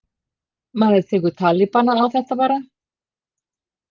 Maður tekur talibanann á þetta bara.